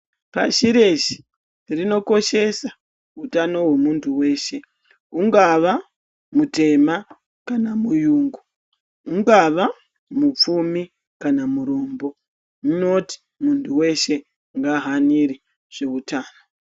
Pashi reshe rinokoshesa utano hwemuntu weshe hungava mutema kana muyungu hungava mupfumi kana murombo zvinoti muntu weshe ngahanire ngezveutano.